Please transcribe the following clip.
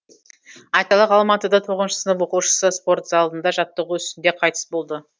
айталық алматыда тоғызыншы сынып оқушысы спорт залында жаттығу үстінде қайтыс болды